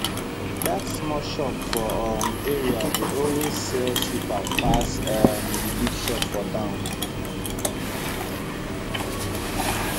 that small shop for um area dey always sell cheaper pass um the big shop for town